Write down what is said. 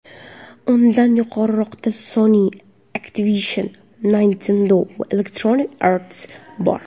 Undan yuqoriroqda Sony, Activision, Nintendo va Electronic Arts bor.